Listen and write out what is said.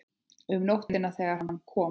Um nóttina þegar hann kom.